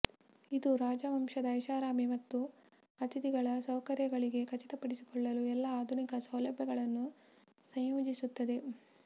ಇದು ರಾಜವಂಶದ ಐಷಾರಾಮಿ ಮತ್ತು ಅತಿಥಿಗಳ ಸೌಕರ್ಯಗಳಿಗೆ ಖಚಿತಪಡಿಸಿಕೊಳ್ಳಲು ಎಲ್ಲಾ ಆಧುನಿಕ ಸೌಲಭ್ಯಗಳನ್ನು ಸಂಯೋಜಿಸುತ್ತದೆ